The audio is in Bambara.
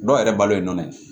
Dɔw yɛrɛ balo ye nɔ ye